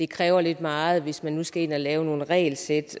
kræver lidt meget hvis man nu skal ind og lave nogle regelsæt